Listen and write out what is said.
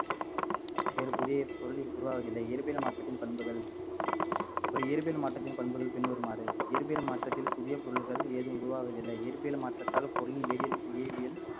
வேறு புதிய பொருள் உருவாவதில்லை இயற்பியல் மாற்றத்தின் பண்புகள் ஒரு இயற்பியல் மாற்றத்தின் பண்புகள் பின்வருமாறு இயற்பியல் மாற்றத்தில் புதிய பொருள்கள் எதுவும் உருவாவதில்லை இயற்பியல் மாற்றத்தால்